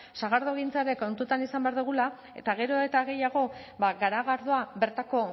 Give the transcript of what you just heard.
sagardogintza ere kontutan izan behar dugula eta gero eta gehiago ba garagardoa bertako